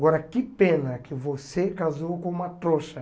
Agora, que pena que você casou com uma trouxa.